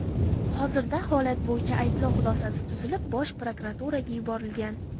Hozirda holat bo‘yicha ayblov xulosasi tuzilib, Bosh prokuraturaga yuborilgan.